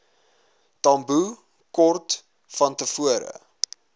tambo kort vantevore